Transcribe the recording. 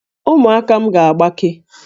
Ụmụaka m ga-agbake